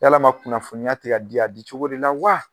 Yalama kunnafoniya te ka di a di cogo de la wa?